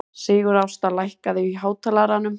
Sigurásta, lækkaðu í hátalaranum.